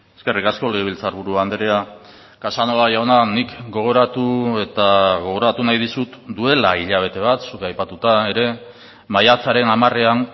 eskerrik asko legebiltzarburu andrea casanova jauna nik gogoratu eta gogoratu nahi dizut duela hilabete bat zuk aipatuta ere maiatzaren hamarean